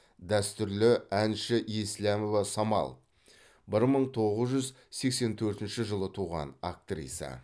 дәстүрлі әнші еслямова самал бір мың тоғыз жүз сексен төртінші жылы туған актриса